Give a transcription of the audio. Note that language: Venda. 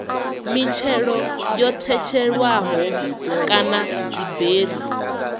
mitshelo yo tshetshelelwaho kana dziberi